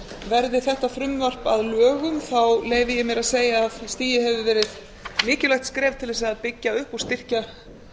verði þetta frumvarp að lögum leyfi ég mér að segja að stigið hefði verið mikilvægt skref til að byggja upp og styrkja